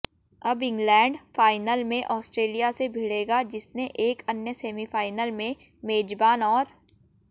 अब England final में Australia से भिड़ेगा जिसने एक अन्य सेमीफाइनल में मेजबान और